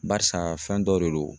Barisa fɛn dɔ de don